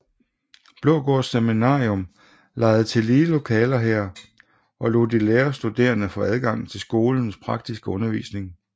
Blågårds Seminarium lejede tillige lokaler her og lod de lærerstuderende få adgang til skolens praktiske undervisning